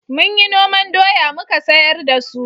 Mun yi noman doya muka sayar da su